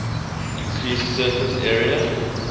increased surface area